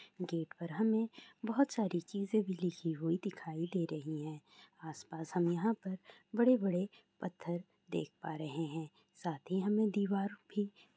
gate पर हमें बहुत सारी चीज़े लिखी हुई दिखाई दे रही हैं | आसपास हम यहाँ पर बड़े बड़े पत्थर देख पा रहे हैं | साथ ही हमें दीवारों पे --